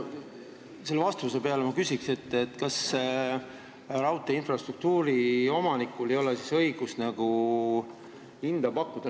Selle vastuse peale ma küsiks, kas raudteeinfrastruktuuri omanikul ei ole siis õigust hinda pakkuda.